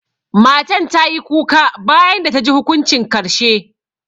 Matan ta yi kuka bayan da ta ji hukuncin karshe.